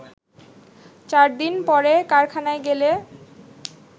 চারদিন পরে কারখানায় গেলে